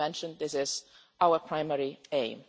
As I mentioned, this is our primary aim.